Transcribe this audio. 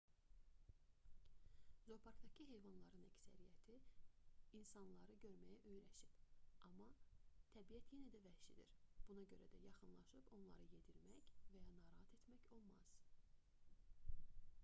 zooparkdakı heyvanların əksəriyyəti insanları görməyə öyrəşib amma təbiət yenə də vəhşidir buna görə də yaxınlaşıb onları yedirmək və ya narahat etmək olmaz